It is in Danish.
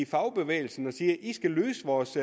fagbevægelsen og siger i skal løse vores